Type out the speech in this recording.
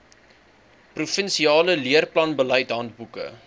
provinsiale leerplanbeleid handboeke